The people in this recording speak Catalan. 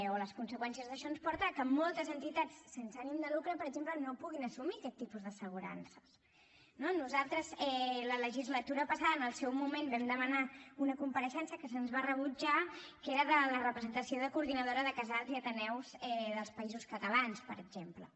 o les conseqüències d’això ens porta que moltes entitats sense ànim de lucre per exemple no puguin assumir aquest tipus d’assegurances no nosaltres la legislatura passada en el seu moment vam demanar una compareixença que se’ns va rebutjar que era de la representació de la coordinadora de casals i ateneus dels països catalans per exemple